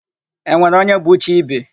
E nwere onye bụ chi ibe?